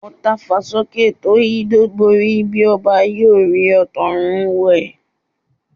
Ọ̀ tafà sókè tó yídó borí, bí ọba ayé ò rí ọ ọba òkè ń wò ọ́.